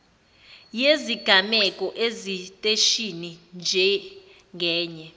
yezigameko esiteshini njengenye